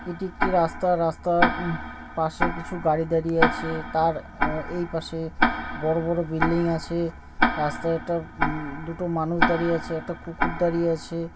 এটি একটি রাস্তার উম পাশে কিছু গাড়ি দাড়িয়ে আছে। তার আ এই পাশে বড়ো বড়ো বিল্ডিং আছে । রাস্তায় একটা উমম দুটো মানুষ দাড়িয়ে আছে একটা কুকুর দাড়িয়ে আছে ।